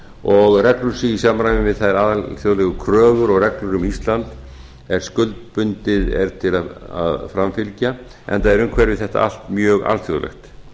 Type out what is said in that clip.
og reglur séu í samræmi við þær alþjóðlegu kröfur og reglur um ísland er skuldbundið er til að framfylgja enda er umhverfi þetta allt mjög alþjóðlegt